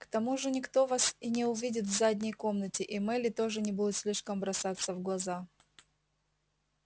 к тому же никто вас и не увидит в задней комнате и мелли тоже не будет слишком бросаться в глаза